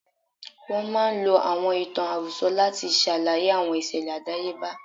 Wọ́n máa ń lo àwọn ìtàn àròsọ láti ṣàlàyé àwọn ìṣẹ̀lẹ̀ àdáyebá.